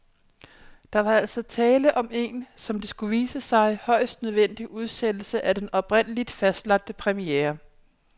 Der var altså tale om en, som det skulle vise sig, højst nødvendig udsættelse af den oprindeligt fastlagte premiere.